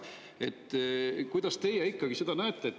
Kuidas teie ikkagi seda näete?